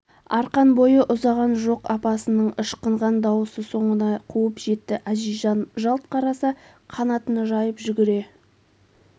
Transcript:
арқан бойы ұзаған жоқ апасының ышқынған дауысы соңынан қуып жетті әзизжан жалт қараса қанатын жайып жүгіре